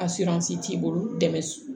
A t'i bolo dɛmɛ